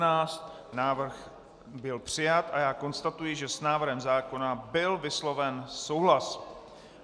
Návrh byl přijat a já konstatuji, že s návrhem zákona byl vysloven souhlas.